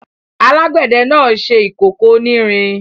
Alágbẹ̀dẹ náà ṣe ìkókó onírin.